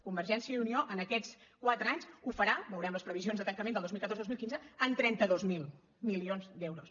convergència i unió en aquests quatre anys ho farà veurem les previsions de tancament del dos mil catorze dos mil quinze en trenta dos mil milions d’euros